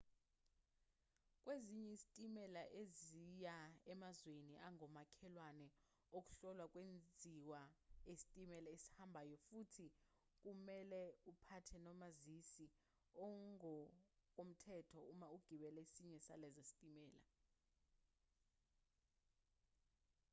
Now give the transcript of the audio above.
kwezinye izitimela eziya emazweni angomakhelwane ukuhlolwa kwenziwa esitimeleni esihambayo futhi kumelwe uphathe nomazisi ongokomthetho uma ugibela esinye salezo zitimela